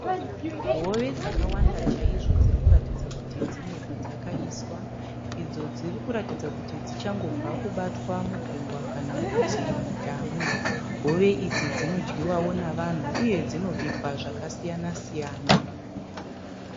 Hove dzakawanda chaizvo dziri kuratidza kuti dzine padzakaiswa idzo dziri kuratidza kuti dzichangobva kubatwa mugungwa kana kuti mudhamu. Hove idzi dzinodyiwawo nevanhu uye dzinobikwa zvakasiyana siyana.